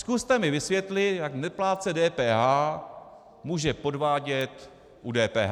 Zkuste mi vysvětlit, jak neplátce DPH může podvádět u DPH.